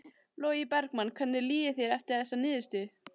Logi Bergmann: Hvernig líður þér eftir þessa niðurstöðu?